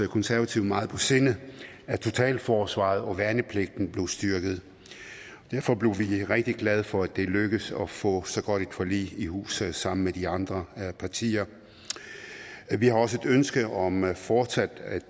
konservative meget på sinde at totalforsvaret og værnepligten blev styrket derfor blev vi rigtig glade for at det lykkedes at få så godt et forlig i hus sammen med de andre partier vi har også et ønske om fortsat at